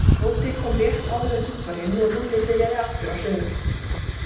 Tóti kom rétt áður en hringt var inn og Lúlli byrjaði aftur á sögunni.